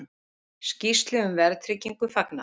Skýrslu um verðtryggingu fagnað